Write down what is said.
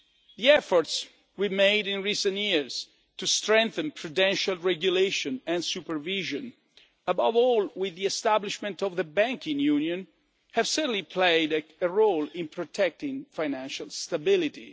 The efforts we have made in recent years to strengthen prudential regulation and supervision, above all with the establishment of the banking union, have certainly played a role in protecting financial stability.